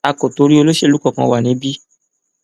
a kò torí olóṣèlú kankan wa níbí